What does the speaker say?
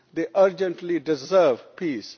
They urgently deserve peace.